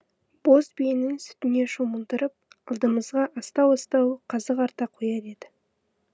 боз биенің сүтіне шомылдырып алдымызға астау астау қазы қарта қояр еді